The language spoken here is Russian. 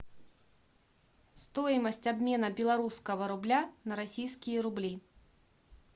стоимость обмена белорусского рубля на российские рубли